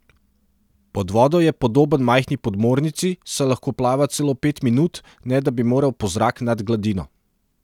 Pod vodo je podoben majhni podmornici, saj lahko plava celo pet minut, ne da bi moral po zrak nad gladino.